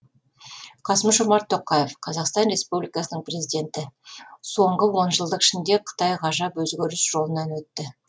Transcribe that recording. қасым жомарт тоқаев қазақстан республикасының президенті соңғы онжылдық ішінде қытай ғажап өзгеріс жолынан өтті